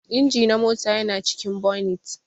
Inji na mota yana cikin bonit.